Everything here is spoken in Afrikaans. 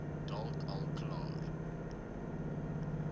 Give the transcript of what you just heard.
dalk al klaar